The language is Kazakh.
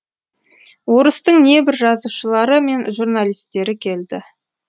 орыстың небір жазушылары мен журналистері келді